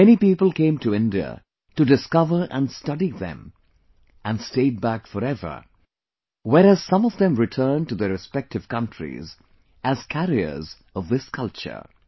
Many people came to India to discover & study them & stayed back for ever, whereas some of them returned to their respective countries as carriers of this culture